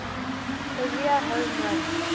career home run